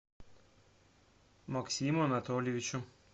максиму анатольевичу